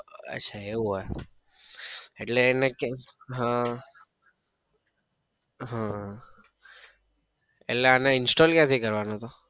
અચ્છા એવું હોય એટલે આહ આહ એટલે અને install ક્યાં થી કરવાનું તો?